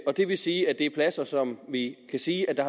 det vil sige at det er pladser som vi kan sige der